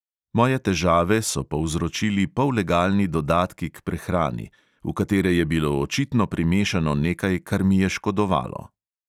Moje težave so povzročili pollegalni dodatki k prehrani, v katere je bilo očitno primešano nekaj, kar mi je škodovalo.